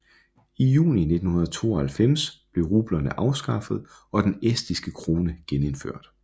I juni 1992 blev rublerne afskaffet og den estiske krone genindført